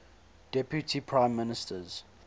deputy prime ministers